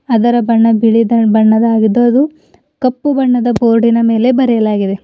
ಅದರ ಬಣ್ಣ ಬಿಳಿ ಬಣ್ಣದ್ದು ಅದು ಕಪ್ಪು ಬಣ್ಣದ ಬೋರ್ಡಿನ ಮೇಲೆ ಬರೆಯಲಾಗಿದೆ.